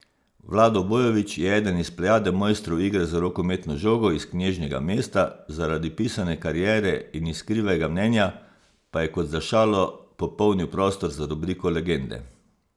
Vlado Bojovič je eden iz plejade mojstrov igre z rokometno žogo iz knežjega mesta, zaradi pisane kariere in iskrivega mnenja pa je kot za šalo popolnil prostor za rubriko Legende.